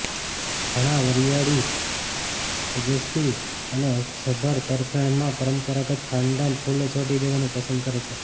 ઘણા વરિયાળી તેજસ્વી અને અર્થસભર તરફેણમાં પરંપરાગત ખાનદાન ફૂલો છોડી દેવાનું પસંદ કરે છે